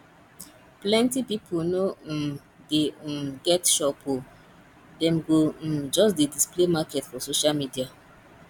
plenty pipu no um dey um get shop o dem go um just dey display market for social media